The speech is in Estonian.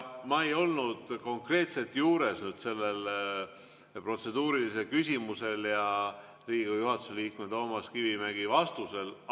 " Ma ei olnud konkreetselt juures selle protseduurilise küsimuse esitamisel ja Riigikogu juhatuse liikme Toomas Kivimägi vastamisel.